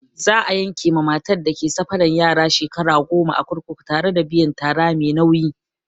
Za'a yanke ma matar da ke safaran yara shekara goma a kurkuku tare da biyan tara mai nauyi.